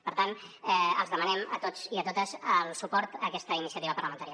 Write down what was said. per tant els demanem a tots i a totes el suport a aquesta iniciativa parlamentària